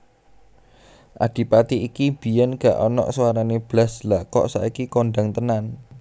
Adipati iki biyen gak onok suarane blas lha kok saiki kondang tenan